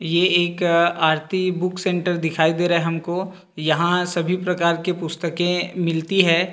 ये एक Aarti book centre दिखाई दे रहा है हमको यहां सभी प्रकार के पुस्तकें मिलती हैं।